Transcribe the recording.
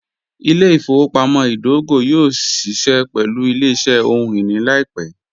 Ìlẹ̀-ifowopamọ̀ idògò yóò ṣíṣẹ pẹ̀lú ìlẹ̀-iṣẹ̀ ọhun-iní laipẹ̀